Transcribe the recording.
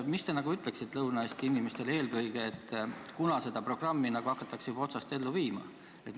Mida te ütleksite eelkõige Lõuna-Eesti inimestele, kunas seda programmi hakatakse otsast juba ellu viima?